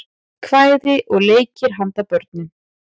kvæði og leikir handa börnum